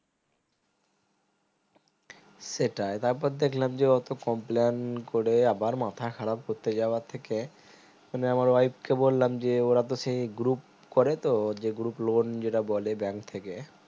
সেটাই তার পর দেখলাম যে অতো complain করে আবার মাথা খারাপ করতে যাওয়ার থেকে মানে আমার wife কে বললাম দিয়ে ওরা তো সেই group করে তো যে group loan যেটা বলে bank থেকে